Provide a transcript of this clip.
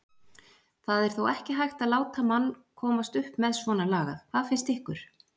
það er ekki hægt að láta mann komast upp með svona lagað. hvað finnst ykkur?